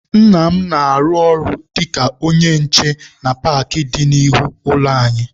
Nna m na-arụ ọrụ dịka onye nche na paakị dị n'ihu ụlọ anyị.